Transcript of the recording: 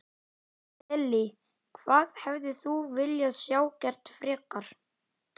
Lillý: Hvað hefðir þú viljað sjá gert frekar?